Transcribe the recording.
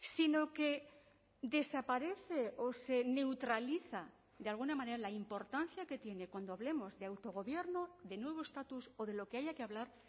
sino que desaparece o se neutraliza de alguna manera la importancia que tiene cuando hablemos de autogobierno de nuevo estatus o de lo que haya que hablar